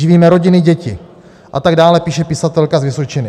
Živíme rodiny, děti... a tak dále, píše pisatelka z Vysočiny.